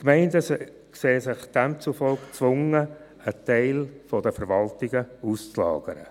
Die Gemeinden sehen sich demzufolge gezwungen, einen Teil der Verwaltungen auszulagern.